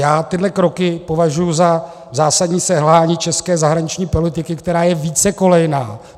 Já tyhle kroky považuji za zásadní selhání české zahraniční politiky, která je vícekolejná.